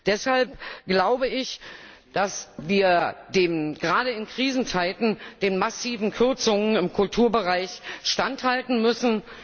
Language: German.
Deshalb glaube ich, dass wir gerade in Krisenzeiten den massiven Kürzungen im Kulturbereich standhalten müssen.